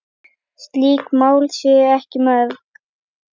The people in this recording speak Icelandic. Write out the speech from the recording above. Slík mál séu ekki mörg.